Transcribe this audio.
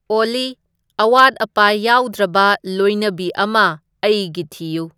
ꯑꯣꯜꯂꯤ ꯑꯋꯥꯠ ꯑꯄꯥ ꯌꯥꯎꯗ꯭ꯔꯕ ꯂꯣꯏꯅꯕꯤ ꯑꯃ ꯑꯩꯒꯤ ꯊꯤꯌꯨ